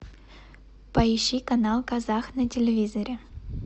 поищи канал казах на телевизоре